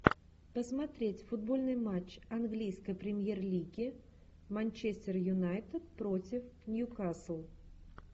посмотреть футбольный матч английской премьер лиги манчестер юнайтед против ньюкасл